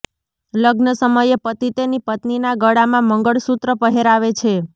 લગ્ન સમયે પતિ તેની પત્નીના ગળામાં મંગળસુત્ર પહેરાવે છે